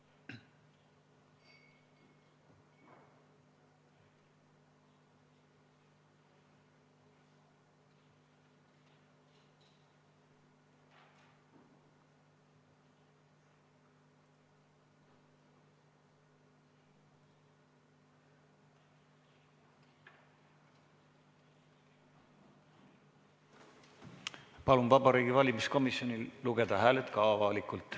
Palun Vabariigi Valimiskomisjonil lugeda hääled üle ka avalikult.